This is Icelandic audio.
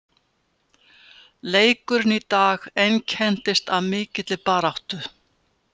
Leikurinn í dag einkenndist af mikilli baráttu.